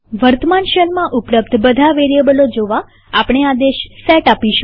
વર્તમાન શેલમાં ઉપલબ્ધ બધા વેરીએબલો જોવાઆપણે આદેશ સેટ આપીશું